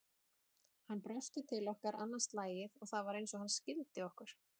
Hann brosti til okkar annað slagið og það var eins og hann skildi okkur.